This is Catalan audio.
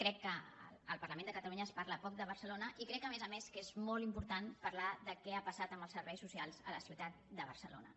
crec que al parlament de catalunya es parla poc de barcelona i crec a més a més que és molt important parlar de què ha passat amb els serveis socials a la ciutat de barcelona